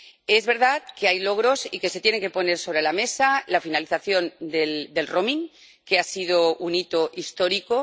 Es verdad que hay logros y que se tiene que poner sobre la mesa la finalización del roaming que ha sido un hito histórico